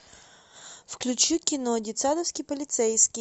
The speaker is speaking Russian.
включи кино детсадовский полицейский